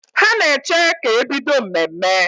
Ha na-eche ka e bido mmemme